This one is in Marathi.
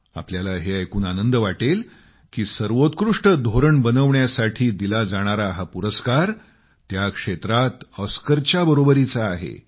आपल्याला हे ऐकून आनंद वाटेल की सर्वोत्कृष्ट धोरण बनवण्यासाठी दिला जाणारा हा पुरस्कार त्या क्षेत्रात ऑस्करच्या बरोबरीने आहे